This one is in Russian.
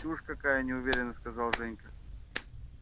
чушь какая неуверенно сказал женька